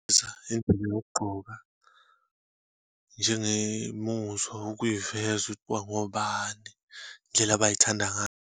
Yokugqoka, njengemuzwa ukuyiveza ukuthi bangobani, indlela abayithanda ngayo.